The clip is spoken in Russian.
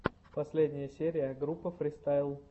последняя серия группа фристайл